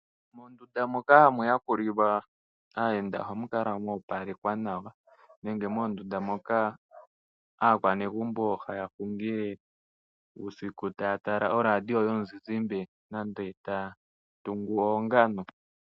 Moondunda moka ha mu yakulilwa aayenda oha mu kala moopalekwa nawa, nenge moondunda moka aakwanegumbo ha ya hungile uusiku ta ya tala oradio yomuzizimbe nenge taa tungu oongano.